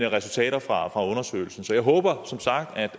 resultaterne fra undersøgelsen sådan så jeg håber som sagt